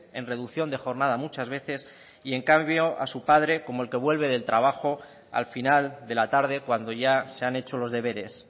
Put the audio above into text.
en reducción de jornada muchas veces y en cambio a su padre como el que vuelve del trabajo al final de la tarde cuando ya se han hecho los deberes